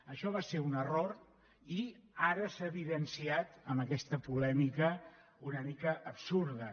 això va ser un error i ara s’ha evidenciat amb aquesta polèmica una mica absurda